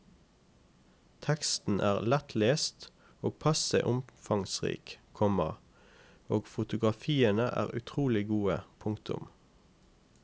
Teksten er lettlest og passe omfangsrik, komma og fotografiene er utrolig gode. punktum